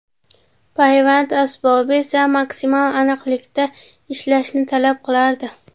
Payvand asbobi esa maksimal aniqlikda ishlashni talab qilardi.